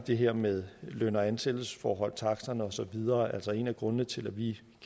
det her med løn og ansættelsesforholdene taksterne og så videre altså en af grundene til at vi